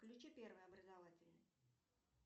включи первый образовательный